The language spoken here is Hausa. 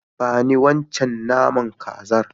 Ba ni wancan naman kazar.